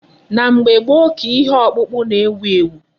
Na mgbe gboo ka ihe ọkpụkpụ na-ewu ewu.